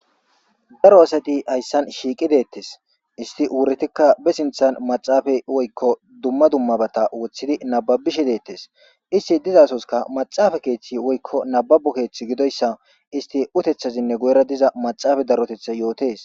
daro asati hayssan shiiqi deettes isti wuretikka be sinthan maxaafay woykko dumma dummabata wothidi nababishe deettes isti dizasoska maxaafa keeththi woykko nababu keeththi gidoyssa isti utethazinne goyra diza maxaafa darotetha yootes